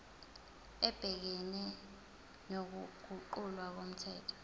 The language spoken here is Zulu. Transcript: ebhekene nokuguqulwa komthetho